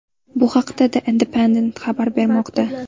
Bu haqda The Independent xabar bermoqda .